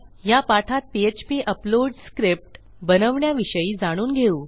ह्या पाठात PHP upload script बनवण्याविषयी जाणून घेऊ